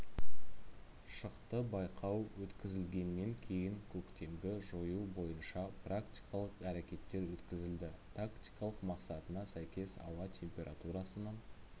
шықты байқау өткізілгеннен кейін көктемгі жою бойынша практикалық әрекеттер өткізілді тактикалық мақсатына сәйкес ауа температурасының